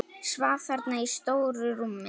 Svaf þarna í stóru rúminu.